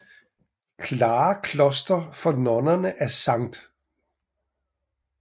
Klare Kloster for nonner af Skt